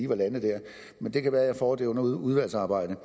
var landet der men det kan være at jeg får det under udvalgsarbejdet